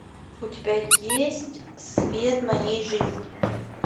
у тебя есть свет моей жизни